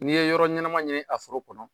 N'i ye yɔrɔ ɲɛnama ɲini a foro kɔnɔ.